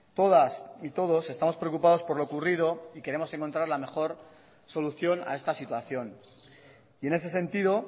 todas y todos estamos preocupados por lo ocurrido queremos encontrar la mejor solución a esta situación y en ese sentido